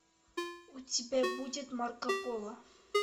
у тебя будет марко поло